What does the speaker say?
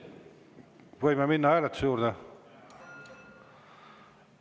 Võime minna hääletuse juurde?